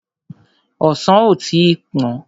Ọsàn ò tí pọ́n.